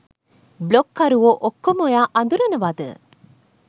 බ්ලොග්කරුවෝ ඔක්කොම ඔයා අඳුරනවද?